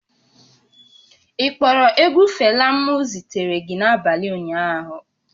Ị kpọrọ egwu Fela m zitere gị n'abalị ụnyaahụ?